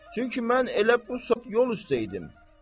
Çünki mən elə bu saat yol üstə idim.